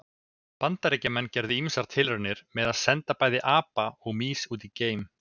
Bandaríkjamenn gerðu ýmsar tilraunir með að senda bæði apa og mýs út í geim.